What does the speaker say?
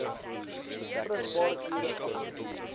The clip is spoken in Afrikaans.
vrugbare ure agter